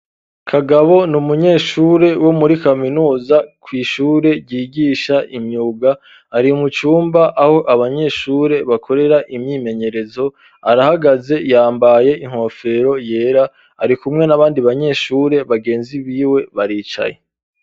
Kagabo ni umunyeshure wo muri kaminuza kw'ishure ryigisha imyuga ari mucumba aho abanyeshure bakorera imyimenyerezo arahagaze yambaye inkofero yera ari kumwe n'abandi banyeshure bagenzi biwe baricaye.